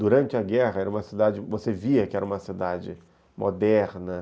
Durante a guerra, você via que era uma cidade moderna.